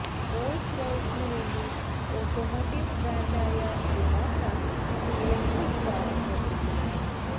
Rolls റോയ്സിന് വേണ്ടി automotive brand ആയ ലുണാസ് ആണ് ഇലക്ട്രിക് കാര് നിര്മിക്കുന്നത്